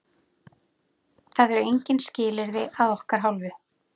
Það eru engin skilyrði að okkar hálfu.